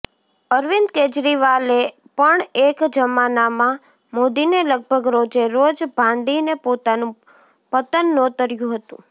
અરવિંદ કેજરીવાલે પણ એક જમાનામાં મોદીને લગભગ રોજે રોજ ભાંડીને પોતાનું પતન નોતર્યું હતું